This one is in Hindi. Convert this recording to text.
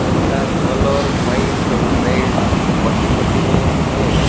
उनका कलर वाइट और रेड पट्टी पट्टी में है।